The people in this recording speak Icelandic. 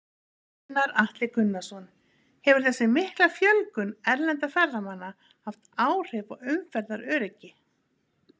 Gunnar Atli Gunnarsson: Hefur þessi mikla fjölgun erlendra ferðamanna haft áhrif á umferðaröryggi?